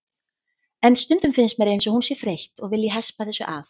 En stundum finnst mér eins og hún sé þreytt og vilji hespa þessu af.